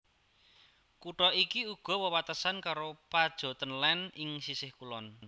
Kutha iki uga wewatesan karo Pajottenland ing sisih kulon